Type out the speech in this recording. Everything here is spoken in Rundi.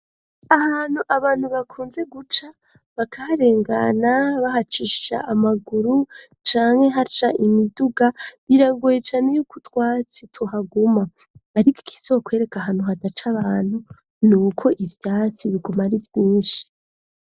Ahantu abantu bakunze guca bakaharengana bahacisha amaguru canke haca imiduga biragoye cane yuko utwatsi tuhaguma ariko ikizakwereka ahantu hadaca abantu nuko ivyatsi biguma ari vyinshi.